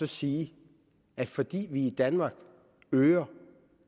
sige at fordi vi i danmark øger